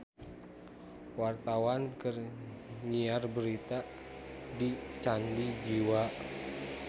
Wartawan keur nyiar berita di Candi Jiwa